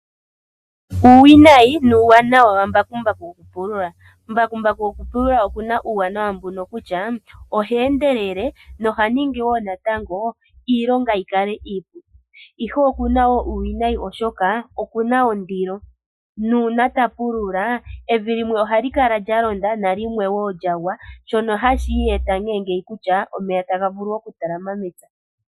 Uuwinayi nuuwanawa wambakumbaku. Mbakumbaku gokupulula okuna uuwanawa mbuno kutya ohe endelele nohaningi iilonga yikale iipu. Ihe okuna wo uuwinayi oshoka okuna ondilo, nuuna tapulula evi limwe ohali kala lyalonda nalimwe ohali lyagwa shoka tashi eta omeya gakale gatalama mepya.